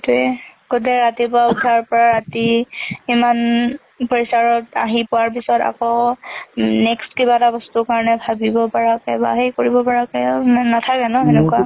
সেইটো এ। গোটে ৰাতিপুৱা ing উথাৰ পৰা ৰাতি ইমান ~ উম pressure ত, আহি পোৱাৰ পিছত আকৌ next কিবা এটা বস্তুৰ কাৰণে ভাবিব পাৰাকে বা সেই কৰিব পাৰাকে খিমান আৰু নাথাকে ন, সেইটোৱে ।